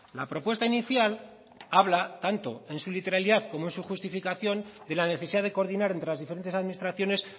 la propuesta inicial habla tanto en su literalidad como en su justificación de la necesidad de coordinar entre las diferentes administraciones